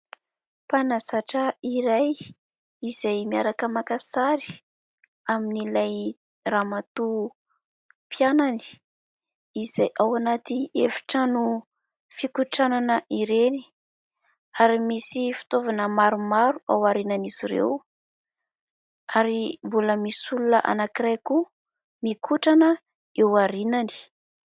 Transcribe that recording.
Mpanazatra iray izay miaraka maka sary amin'ilay ramatoa mpianany izay ao anaty efitrano fikotranana ireny ary misy fitaovana maromaro ao aorinan'izy ireo ary mbola misy olona anankiray koa mikotrana eo aorinany.